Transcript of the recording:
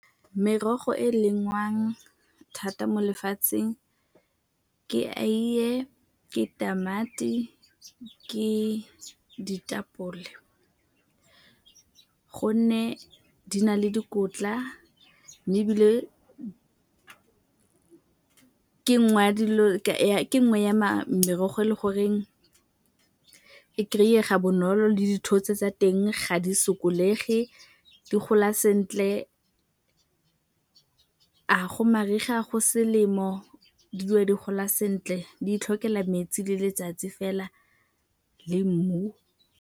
Merogo e lengwa thata mo lefatsheng ke aiye, ke tamati, ke ditapole gonne di na le dikotla mme ke nngwe ya merogo e le goreng e kry-ega bonolo le dithotse tsa teng ga di sokolegi, di gola sentle. A go mariga, go selemo di dula di gola sentle di itlhokela metsi le letsatsi fela le mmu.